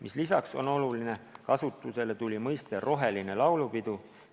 Ja mis veel oluline: kasutusele tuli mõiste "roheline laulupidu".